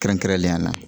Kɛrɛnkɛrɛnnenya la